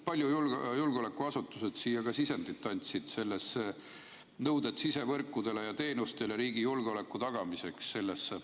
Palju julgeolekuasutused siia sisendit andsid sellesse paragrahvi, mis on "Nõuded sidevõrkudele ja -teenustele riigi julgeoleku tagamiseks"?